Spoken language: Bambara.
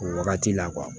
O wagati la